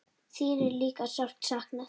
Þín er líka sárt saknað.